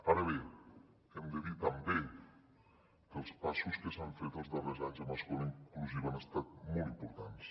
ara bé hem de dir també que els passos que s’han fet els darrers anys en escola inclusiva han estat molt importants